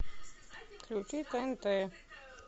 включи тнт